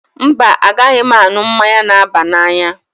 Mba, a naghị m aṅu mmanya n'aba n'anya